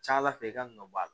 Ca ala fɛ i ka nɔ bɔ a la